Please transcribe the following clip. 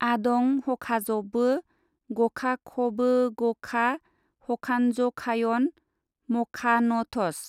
आदं हखाजबो गखाखबोगखा हखान्जखायन मखानथस।